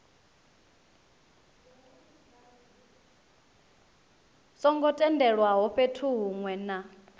songo tendelwaho fhethu hunwe na